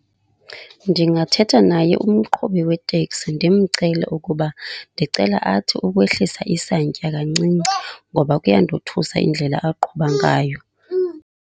Ndingathetha naye umqhubi weteksi, ndimcele ukuba ndicela athi ukwehlisa isantya kancinci ngoba kuyandothusa indlela aqhuba ngayo.